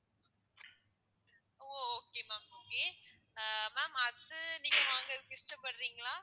ஓ ஓ okay ma'am okay ஆஹ் ma'am அது நீங்க வாங்குறதுக்கு இஷ்டப்படுறீங்களா?